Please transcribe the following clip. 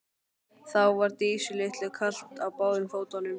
Þá var Dísu litlu kalt á báðum fótum.